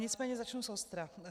Nicméně začnu zostra.